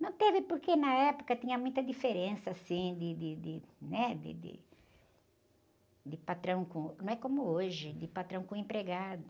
Não teve porque na época tinha muita diferença, assim, de, de, de, né? De, de, de patrão com... Não é como hoje, de patrão com empregado.